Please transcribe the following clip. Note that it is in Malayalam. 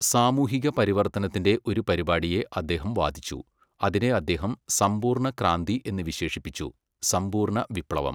സാമൂഹിക പരിവർത്തനത്തിന്റെ ഒരു പരിപാടിയെ അദ്ദേഹം വാദിച്ചു, അതിനെ അദ്ദേഹം സമ്പൂർണ ക്രാന്തി എന്ന് വിശേഷിപ്പിച്ചു, സമ്പൂർണ വിപ്ലവം.